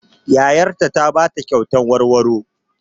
Yayar ta ta ba ta kyatan warwaro.